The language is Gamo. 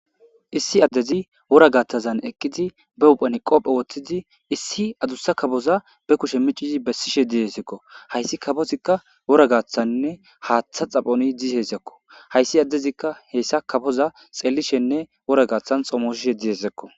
issi addezi wora gatazan eqqidi be uphani qopphe woththidi issi adussa kaboza be kushe micizi bessishe dihesekko hayssi kabozikka wora gaaththanne haaththa xaphoni dizezekko hayssi addezikka heessa kafoza xellishenne wora gaaththan xomoshishe diyesekko